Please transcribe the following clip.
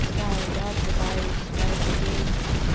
не знаю я отрубаюсь каждый день